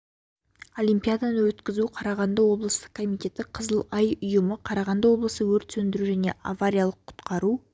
олимпиаданы өткізу қарағанды облыстық комитеті қызыл ай ұйымы қарағанды облысы өрт сөндіру және авариялық құтқару